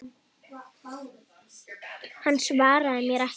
Hann svaraði mér ekki.